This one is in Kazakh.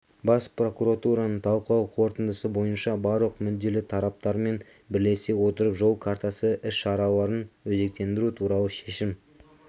бас прокуратураның талқылау қорытындысы бойынша барлық мүдделі тараптармен бірлесе отырып жол картасы іс-шараларын өзектендіру туралы шешім